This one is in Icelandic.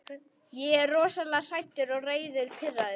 Ég er rosalega hræddur, reiður, pirraður.